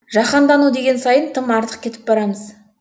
жаһандану деген сайын тым артық кетіп барамыз